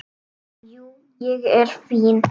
Jú, ég er fínn.